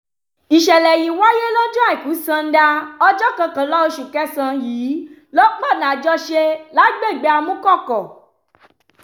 ìṣẹ̀lẹ̀ yìí wáyé lọ́jọ́ àìkú sannda ọjọ́ kọkànlá oṣù kẹsàn-án yìí lọ́pọ̀nà àjọṣe lágbègbè amúkọ̀kọ̀